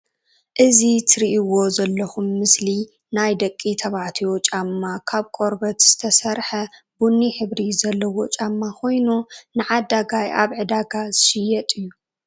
እዚ እትርእዎ ዘለኩም ምስሊ ናይ ደቂ ተባዕትዮ ጫማ ካብ ቆርበት ዝተሰረሓ ቡኒ ሕብሪ ዘለዎ ጫማ ኮይኑ ንዓዳጋይ ኣብ ዕዳጋ ዝሽየጥ እዩ።